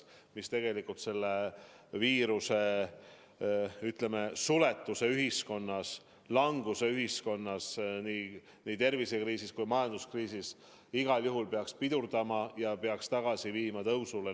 Nad peaksid selle viiruse põhjustatud suletuse ühiskonnas, languse ühiskonnas nii tervisekriisi kui ka majanduskriisi igal juhul pidurdama ja peaksid tagasi viima tõusule.